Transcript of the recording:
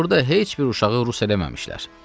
Burda heç bir uşağı rus eləməmişlər.